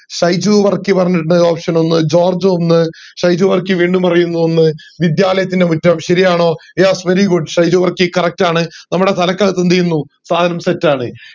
ഷൈജു വർക്കി പറഞ്ഞിട്ടുണ്ട് ഒന്ന് ജോർജ് ഒന്ന് ഷൈജു വർക്കി വീണ്ടും പ്രായുന്നു ഒന്ന് വിദ്യാലയത്തിൻറെ മുറ്റം ശരിയാണോ yes very goog Shaiju Varkey correct ആണ് നമ്മടെ തലക്കകതെന്ത് ചെയ്യുന്നു സാധനം set ആണ്